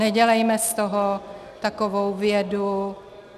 Nedělejme z toho takovou vědu.